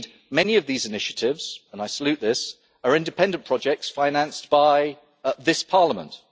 Many of these initiatives, and I salute this, are independent projects financed by this Parliament.